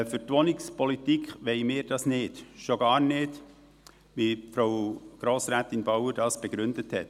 Für die Wohnungspolitik wollen wir dies nicht – schon gar nicht so, wie Frau Grossrätin Bauer dies begründet hat.